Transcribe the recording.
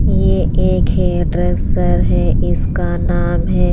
ये एक hair dresser है। इसका नाम है--